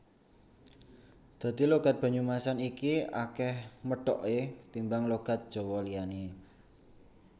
Dadi logat Banyumasan iki akeh medhoke ketimbang logat Jawa liyane